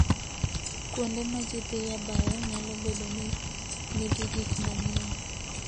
Kuonde ma ji dhiye bayo nyalo bedo ni nigi gik manyien.